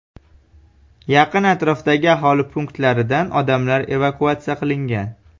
Yaqin atrofdagi aholi punktlaridan odamlar evakuatsiya qilingan.